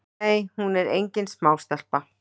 Nei hún er engin smástelpa.